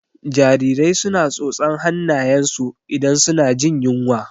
Jarirai su na tsotsan hannayen su idan su na jin yunwa